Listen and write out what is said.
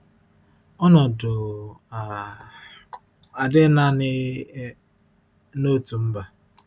Ọnọdụ um a adịghị naanị um n’otu mba.